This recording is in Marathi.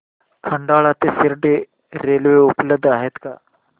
खंडाळा ते शिर्डी रेल्वे उपलब्ध आहे का